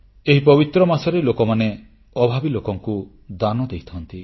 ଏହି ପବିତ୍ର ମାସରେ ଲୋକମାନେ ଅଭାବୀ ଲୋକମାନଙ୍କୁ ଦାନ ଦେଇଥାନ୍ତି